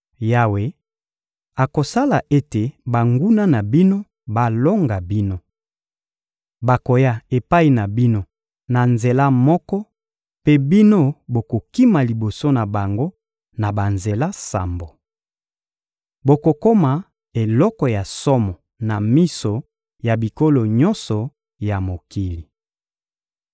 Yawe akosala ete banguna na bino balonga bino. Bakoya epai na bino na nzela moko mpe bino bokokima liboso na bango na banzela sambo. Bokokoma eloko ya somo na miso ya bikolo nyonso ya mokili.